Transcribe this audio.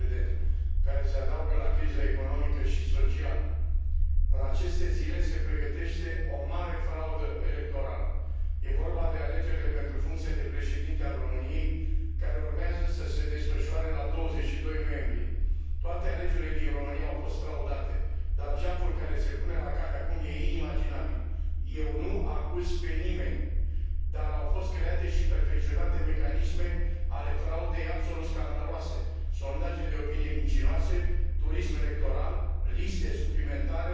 Așa după cum știți, România cunoaște în această perioadă o criză politică fără precedent, care se adaugă la criza economică și socială. În aceste zile se pregătește o mare fraudă electorală. E vorba de alegerile pentru funcția de președinte al României, care urmează să se desfășoare la 22 noiembrie. Toate alegerile din România au fost fraudate, dar jaful care se pune la cale acum e inimaginabil. Eu nu acuz pe nimeni, dar au fost create și perfecționate mecanisme ale fraudei absolut scandaloase sondaje de opinie mincinoase, turism electoral, liste suplimentare,